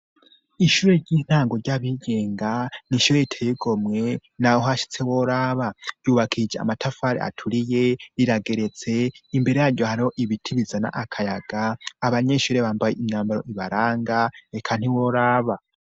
Ishure ry'intango ry'abigenga, ni ishure riteye igomwe, na we uhashitse woraba. Ryubakishije amatafari aturiye, rirageretse, imbere ya ryo hariho ibiti bizana akayaga, abanyeshure bambaye imyambaro ibaranga, eka ntiworaba.